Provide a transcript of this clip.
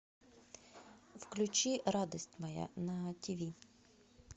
включи радость моя на тиви